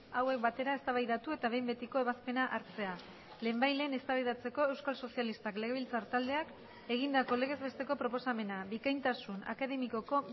hauek batera eztabaidatu eta behin betiko ebazpena hartzea lehenbailehen eztabaidatzeko euskal sozialistak legebiltzar taldeak egindako legez besteko proposamena bikaintasun akademikoko